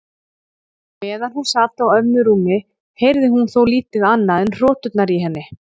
Meðan hún sat á ömmu rúmi heyrði hún þó lítið annað en hroturnar í henni.